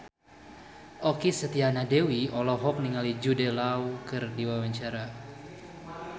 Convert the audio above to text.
Okky Setiana Dewi olohok ningali Jude Law keur diwawancara